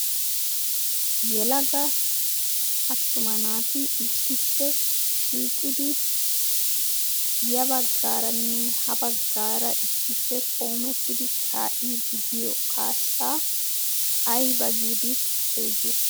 Yelaga attuma naati issippe shiiqidi ya baggaaranne ha baggaara issippe qoomettidi ka'idi de'iyo kaassaa ayba giidi xeegiyo?